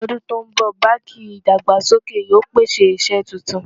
ló dùn ton bó, bánkì ìdàgbàsókè yóò pèsè iṣé túntùn